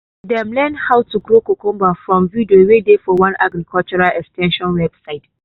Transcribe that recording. dem learn how to grow cucumber from video wey dey for one agriculture ex ten sion website.